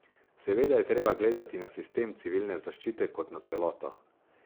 Seveda je treba gledati na sistem civilne zaščite kot na celoto.